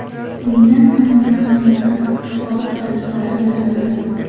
Undan ayollar sumkasi, soat dastalari yasalgan.